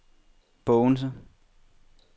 Bogense